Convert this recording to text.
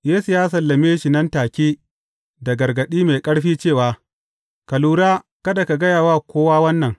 Yesu ya sallame shi nan take, da gargaɗi mai ƙarfi cewa, Ka lura kada ka gaya wa kowa wannan.